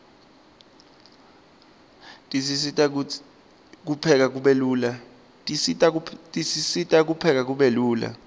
tisisita kupheka lula